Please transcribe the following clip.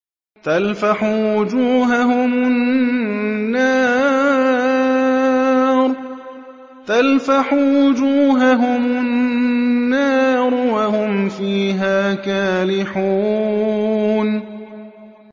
تَلْفَحُ وُجُوهَهُمُ النَّارُ وَهُمْ فِيهَا كَالِحُونَ